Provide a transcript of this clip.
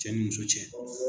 Cɛ ni muso cɛ